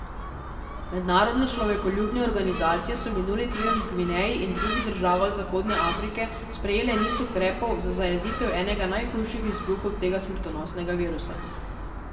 Mednarodne človekoljubne organizacije so minuli teden v Gvineji in drugih državah zahodne Afrike sprejele niz ukrepov za zajezitev enega najhujših izbruhov tega smrtonosnega virusa.